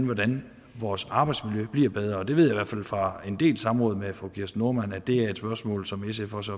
hvordan vores arbejdsmiljø bliver bedre og jeg ved i hvert fald fra en del samråd med fru kirsten normann andersen at det er et spørgsmål som sf også